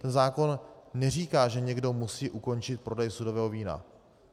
Ten zákon neříká, že někdo musí ukončit prodej sudového vína.